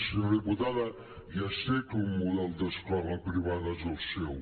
senyora diputada ja sé que el model d’escola privada és el seu